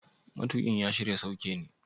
Matuƙin ya shirya sauke ne?